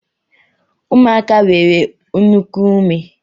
Ụmụaka nwere nnukwu ume